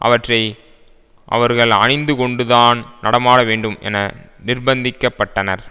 அவற்றை அவர்கள் அணிந்துகொண்டுதான் நடமாட வேண்டும் என நிர்பந்திக்க பட்டனர்